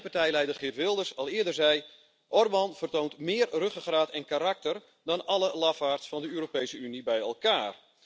En zoals mijn partijleider Geert Wilders al eerder zei Orbán vertoont meer ruggengraat en karakter dan alle lafaards van de Europese Unie bij elkaar!